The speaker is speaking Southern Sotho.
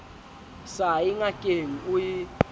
sa ye ngakeng o e